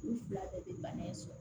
U fila bɛɛ bɛ bana in sɔrɔ